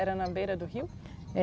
Era na beira do rio? É